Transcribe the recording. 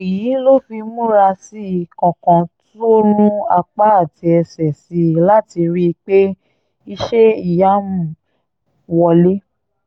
èyí ló fi múra sí i kankan tó rún apá àti ẹsẹ̀ sí i láti rí i pé iṣẹ́-ìyamù wọ̀lẹ̀